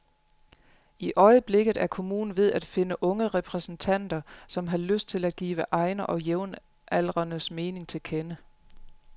I øjeblikket er kommunen ved at finde unge repræsentanter, som har lyst til at give egne og jævnaldrendes mening til kende.